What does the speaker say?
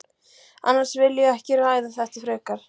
Annars vil ég ekki ræða þetta frekar.